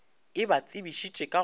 e ba tsebišitše ka go